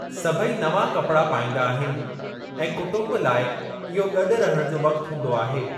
सभई नवां कपड़ा पाईंदा आहिनि ऐं कुटुंब लाइ इहो गॾु रहणु जो वक्‍त हूंदो आहे।